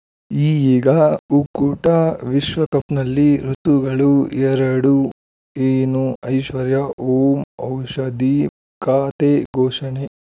ಈಗ ಉಕುತ ಊಟ ವಿಶ್ವಕಪ್‌ನಲ್ಲಿ ಋತುಗಳು ಎರಡು ಏನು ಐಶ್ವರ್ಯಾ ಓಂ ಔಷಧಿ ಖಾತೆ ಘೋಷಣೆ